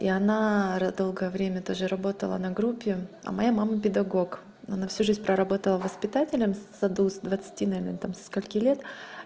и она долгое время тоже работала на группе а моя мама педагог она всю жизнь проработала воспитателем в саду с двадцати наверное там или со скольки лет